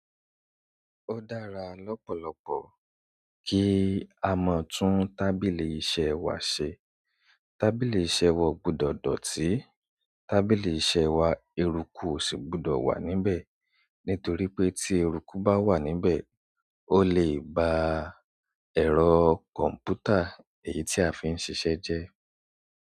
Ó dára lọ́pọ̀lọpọ̀ kí a mọ̀ tún tábìlì iṣẹ́ wa ṣe. Tábìlì iṣẹ́ wa gbọdọ̀ dọ̀tí, tábìlì iṣẹ́ wa eruku ò ṣì gbọdọ̀ wà níbẹ̀, nítorí pé tí eruku bá wà níbẹ̀, ó lè ba ẹ̀rọ kọ̀m̀pútà èyí tí a fi ń ṣiṣẹ́ jẹ́.